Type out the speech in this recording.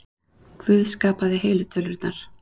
Guð skapaði heilu tölurnar.